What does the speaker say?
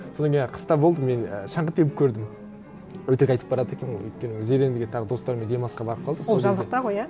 содан кейін і қыста болды мен і шаңғы теуіп көрдім өтірік айтып барады екенмін ғой өйткені зерендіге тағы достарыммен демалысқа барып қалдық сол кезде ол жазықта ғой иә